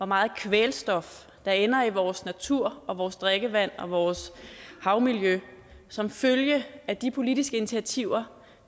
meget kvælstof der ender i vores natur og vores drikkevand og vores havmiljø som følge af de politiske initiativer